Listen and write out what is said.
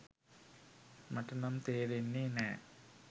මට නම් තේරෙන්නේ නෑ.